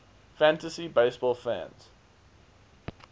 fantasy baseball fans